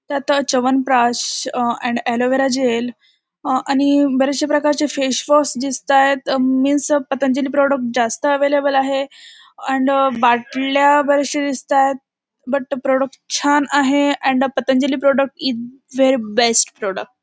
त्यात uh Chyawanprash uh and aloe vera gel uh आणि uh बरेच से प्रकारचे फेस वॉश दिसतायेत मीन्स पतंजली प्रॉडक्ट जास्त अवेलेबल आहे अँड बाटल्या बराचश्या दिसतायेत बट प्रॉडक्ट छान आहे and Patanjali product is very best product .